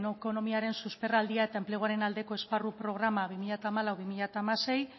ekonomiaren susperraldia eta enpleguaren aldeko esparru programa bi mila hamalau bi mila hamasei